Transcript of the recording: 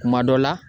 Kuma dɔ la